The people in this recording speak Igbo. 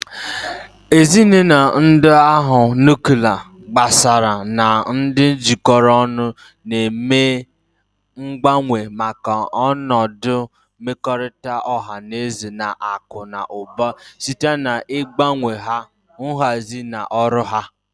Ezinụlọ ndị agha nuklia, gbasaara, na ndị jikọrọ ọnụ na-eme mgbanwe maka ọnọdụ mmekọrịta ọha na eze na akụ na ụba site n'ịgbanwe nha, nhazi, na ọrụ ha.